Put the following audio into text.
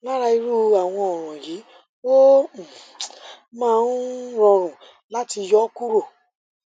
lára irú àwọn ọràn yìí ó um máa ń rọrùn láti yọ ó kúrò